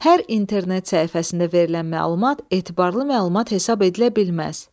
Hər internet səhifəsində verilən məlumat etibarlı məlumat hesab edilə bilməz.